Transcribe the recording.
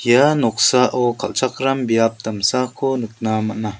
ia noksao kal·chakram biap damsako nikna man·a.